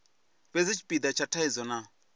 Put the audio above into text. fhedzi tshipida tsha thaidzo na